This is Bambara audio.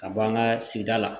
Ka bɔ an ka sigida la